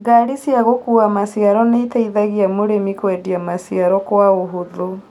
Gari cia gũkua maciaro nĩiteithagia mũrimi kwendia maciaro kwa ũhũthũ